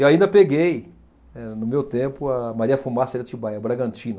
E ainda peguei, eh no meu tempo, a Maria Fumaça de Atibaia, a Bragantina.